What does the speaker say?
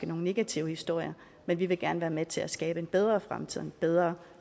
nogle negative historier men vi vil gerne være med til at skabe en bedre fremtid et bedre